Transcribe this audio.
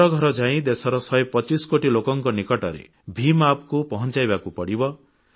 ଘର ଘର ଯାଇ ଦେଶର 125 କୋଟି ଲୋକଙ୍କ ନିକଟରେ ଭିମ୍ App କୁ ପହଂଚାଇବାକୁ ପଡ଼ିବ